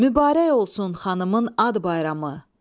Mübarək olsun xanımın ad bayramı.